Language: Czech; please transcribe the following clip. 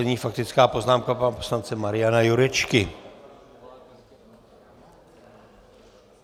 Nyní faktická poznámka pana poslance Mariana Jurečky.